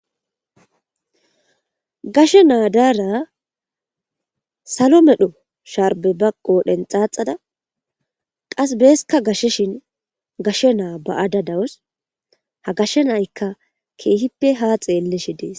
Gashshe naa' darra sollo medhdho sharbe ba qodhen xaxada qas beskka gasheshin gashe naa' baa'da dawuss. Ha gashe na'ykka kehippe ha xelashe dees.